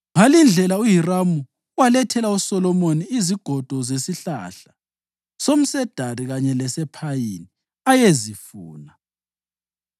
Ngalindlela uHiramu walethela uSolomoni izigodo zesihlahla somsedari kanye lesephayini ayezifuna,